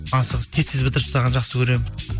асығыс тез тез бітіріп тастағанды жақсы көремін